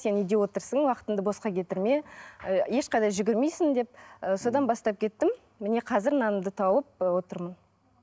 сен үйде отырсың уақытыңды босқа кетірме ы ешқайда жүгірмейсің деп ы содан бастап кеттім міне қазір нанымды тауып ы отырмын